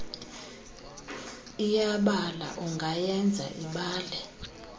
iyabala ungayenza ibale